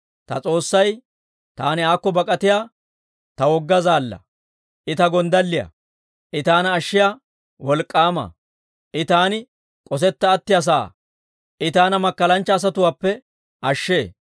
Ta S'oossay taani aakko bak'atiyaa ta wogga zaallaa. I ta gonddalliyaa; I taana ashshiyaa wolk'k'aama. I taani k'osetta attiyaa sa'aa; I taana makkalanchcha asatuwaappe ashshee.